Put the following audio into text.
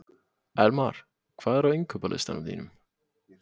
Elmar, hvað er á innkaupalistanum mínum?